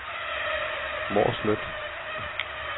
Mårslet